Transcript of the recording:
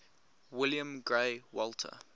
william grey walter